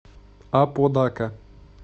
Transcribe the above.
аподака